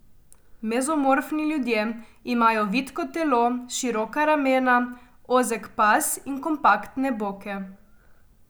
Mezomorfni ljudje imajo vitko telo, široka ramena, ozek pas in kompaktne boke.